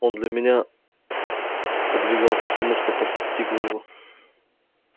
он для меня подвергался всему что постигло его